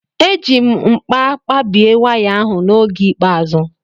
Eji m nkpa kpabie waya ahụ n'oge ikpeazụ.